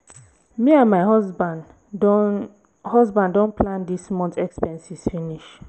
me and my husband don husband don plan dis month expenses finish